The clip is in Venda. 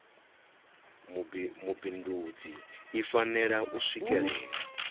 mubindudzi i fanela u swikelela